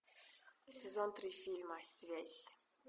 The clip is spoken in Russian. сезон три фильма связь